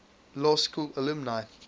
law school alumni